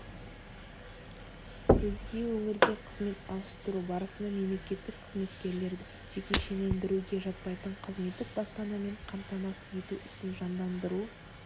өзге өңірге қызмет ауыстыру барысында мемлекеттік қызметкерлерді жекешелендіруге жатпайтын қызметтік баспанамен қамтамасыз ету ісін жандандыру